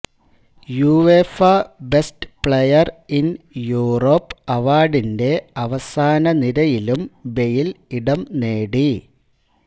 UEFA best player in Europe അവാർഡിന്റെ അവസാനനിരയിലും Bale ഇടം നേടി